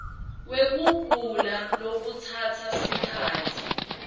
wekugula lokutsatsa sikhatsi